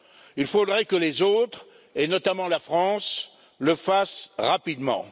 Il faudrait que les autres, et notamment la France, le fassent rapidement.